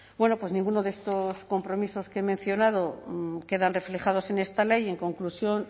ninguno de estos compromisos que he mencionado quedan reflejados en esta ley y en conclusión